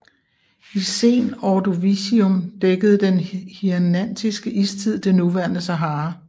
I Sen Ordovicium dækkede den Hirnantiske Istid det nuværende Sahara